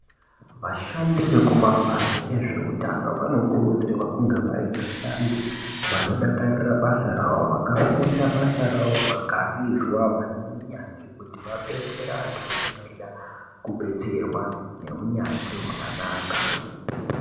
Vashandi vekumabazi ezveutano vanokurudzirwa kunge vari vashandi vanodakarira basa rawo vakafunda basa rawo vakarizwa vane u yanzvi kuti vabetsere antu anenge eida kubetserwa neunyanzvi hwakanaka.